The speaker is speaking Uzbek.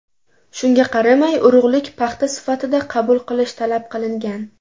Shunga qaramay urug‘lik paxta sifatida qabul qilish talab qilingan.